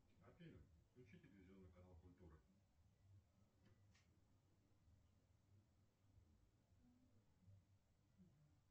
афина включи телевизионный канал культура